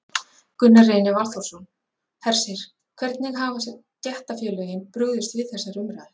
Gunnar Reynir Valþórsson: Hersir, hvernig hafa stéttarfélögin brugðist við þessari umræðu?